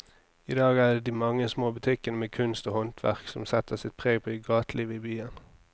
I dag er det de mange små butikkene med kunst og håndverk som setter sitt preg på gatelivet i byen.